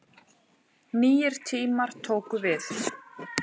Nýir tímar tóku við.